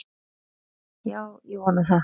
Já, ég vona það.